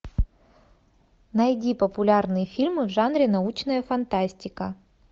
найди популярные фильмы в жанре научная фантастика